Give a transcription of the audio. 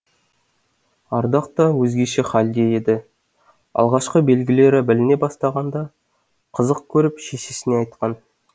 ардақ та өзгеше халде еді алғашқы белгілері біліне бастағанда қызық көріп шешесіне айтқан